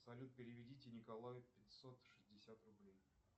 салют переведите николаю пятьсот шестьдесят рублей